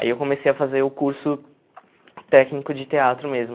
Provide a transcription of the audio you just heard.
Aí eu comecei a fazer o curso técnico de teatro mesmo.